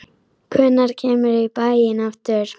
Hvenær kemurðu í bæinn aftur?